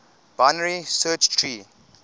binary search tree